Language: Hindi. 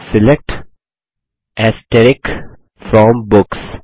select from books